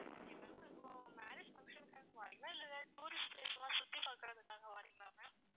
okay ma'am இப்போ marriage function க்காக வர்றீங்களா இல்லை tourist place லாம் சுத்தி பாக்குறதுக்காக வர்றீங்களா ma'am